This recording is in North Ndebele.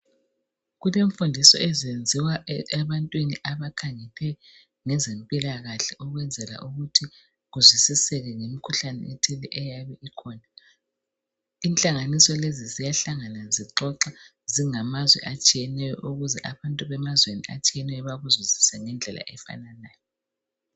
Kulemfundiso ezenziwa ebantwini abakhaliphe ngezempilakahle ukwenzela ukuthi kuzwisiseke ngemikhuhlane eyabe ikhona. Inhlanganiso lezi ziyahlangana zixoxa zingamazwe atshiyeneyo ukuze abantu bemazweni atshiyeneyo bakuzwisise ngendlela efananayo.